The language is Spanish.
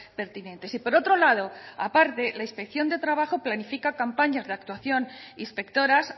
pertinentes y por otro lado aparte la inspección de trabajo planifica campañas de actuación inspectoras